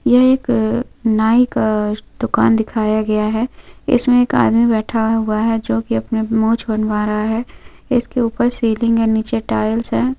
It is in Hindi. यह एक नाई का दुकान दिखाया गया है इसमें एक आदमी बैठा हुआ है जो की अपनी मूछ बनवा रहा है इसके ऊपर सीलिंग है नीचे टाइल्स है।